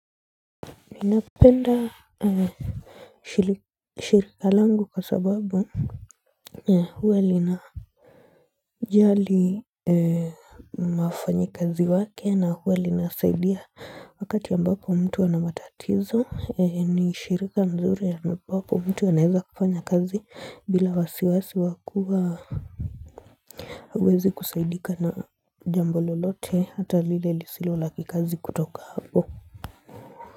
Ninapenda shirika langu kwa sababu huwa lina jali mafanyi kazi wake na huwe linasaidia wakati ya mbapo mtu wanamatatizo ni shirika mzuri ya mbapo mtu wanaeza kufanya kazi bila wasiwasi wakua wezi kusaidika na jambo lolote hata lile lisilo laki kazi kutoka hapo.